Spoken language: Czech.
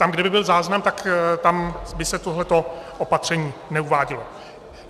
Tam, kde by byl záznam, tak tam by se tohle opatření neuvádělo.